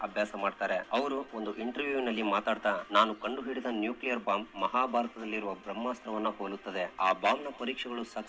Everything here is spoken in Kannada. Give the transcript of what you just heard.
ಅಭ್ಯಾಸ ಮಾಡ್ತಾರೆ ಅವರು ಒಂದು ಇಂಟರ್ವ್ಯೂ ನಲ್ಲಿ ಮಾತಾಡ್ತಾರೆ ನಾನು ಕನ್ನಡ ಮಹಾಭಾರತದಲ್ಲಿ ಬ್ರಹ್ಮಾಸ್ತ್ರವನ್ನು ಹೋಲಿಸುತ್ತದೆ ಆ ಬ್ಯಾಮ್ನ ಪರೀಕ್ಷೆಗಳು --